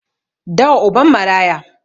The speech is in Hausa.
Dawa uban maraya